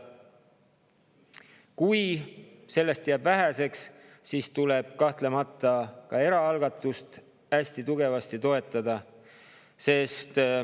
Kui sellest jääb väheseks, siis tuleb kahtlemata ka eraalgatust hästi tugevasti toetada.